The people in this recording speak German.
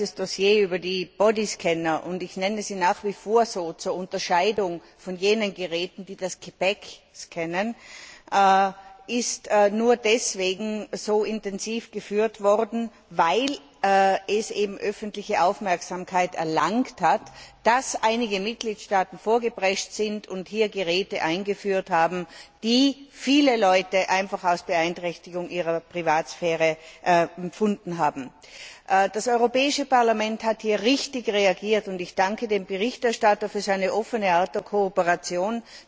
Die Diskussion über Bodyscanner und ich nenne sie nach wie vor so, zur Unterscheidung von jenen Geräten, die das Gepäck scannen ist nur deswegen so intensiv geführt worden, weil sie öffentliche Aufmerksamkeit erlangt hat und einige Mitgliedstaaten vorgeprescht sind und Geräte eingeführt haben, die viele Leute einfach als Beeinträchtigung ihrer Privatsphäre empfunden haben. Das Europäische Parlament hat hier richtig reagiert, und ich danke dem Berichterstatter für seine offene Art der Kooperation.